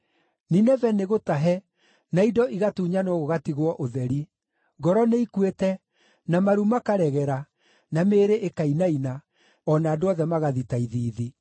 Nineve nĩgũtahe, na indo igatunyanwo gũgatigwo ũtheri! Ngoro nĩikuĩte, na maru makaregera, na mĩĩrĩ ĩkainaina, o na andũ othe magathita ithiithi.